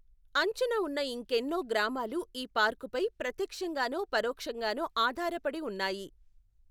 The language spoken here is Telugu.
అంచున ఉన్న ఇంకెన్నో గ్రామాలు ఈ పార్కుపై ప్రత్యక్షంగానో పరోక్షంగానో ఆధారపడి ఉన్నాయి.